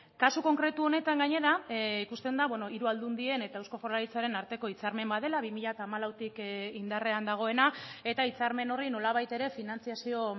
kasu konkretu honetan gainera ikusten da hiru aldundien eta eusko jaurlaritzaren arteko hitzarmen bat dela bi mila hamalautik indarrean dagoena eta hitzarmen horri nolabait ere finantzazio